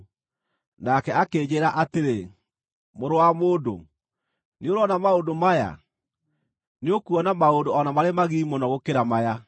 Nake akĩnjĩĩra atĩrĩ, “Mũrũ wa mũndũ, nĩũrona maũndũ maya? Nĩũkuona maũndũ o na marĩ magigi mũno gũkĩra maya.”